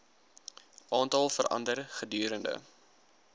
aantal verander gedurende